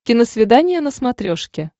киносвидание на смотрешке